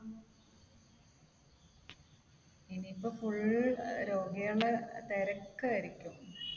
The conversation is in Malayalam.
ഇനിയിപ്പോൾ full രോഗികളുടെ തിരക്കായിരിക്കും.